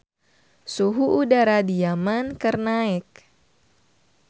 Suhu udara di Yaman keur naek